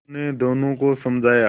उन्होंने दोनों को समझाया